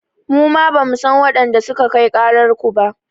Muma bamu san waɗanda suka kai ƙarar ku ba.